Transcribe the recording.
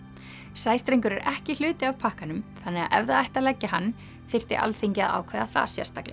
sæstrengur er ekki hluti af pakkanum þannig að ef það ætti að leggja hann þyrfti Alþingi að ákveða það sérstaklega